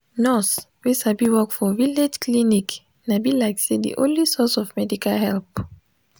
nurse wey sabi work for village clinic na be like say de only source of medical help.